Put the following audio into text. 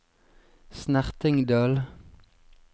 Snertingdal